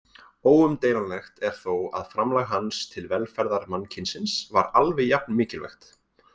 Óumdeilanlegt er þó að framlag hans til velferðar mannkynsins var alveg jafn mikilvægt.